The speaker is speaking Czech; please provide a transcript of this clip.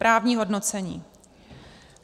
Právní hodnocení.